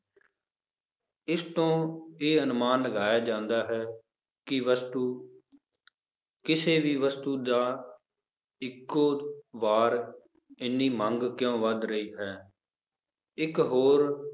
ਇਸ ਤੋਂ ਇਹ ਅਨੁਮਾਨ ਲਗਾਇਆ ਜਾਂਦਾ ਹੈ ਕਿ ਵਸਤੂ ਕਿਸੇ ਵੀ ਵਸਤੂ ਦਾ ਇੱਕੋ ਵਾਰ ਇੰਨੀ ਮੰਗ ਕਿਉਂ ਵੱਧ ਰਹੀ ਹੈ, ਇੱਕ ਹੋਰ